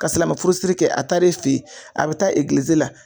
Ka silamɛ furusiri kɛ a taar'e fe ye, a bɛ taa egilizi la